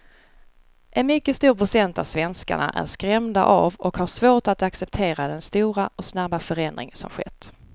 En mycket stor procent av svenskarna är skrämda av och har svårt att acceptera den stora och snabba förändring som skett.